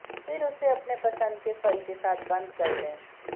फिर इसे अपने पसंद के फल के साथ बंद कर दें